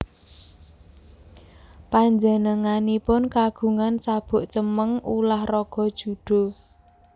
Panjenenganipun kagungan sabuk cemeng ulah raga judo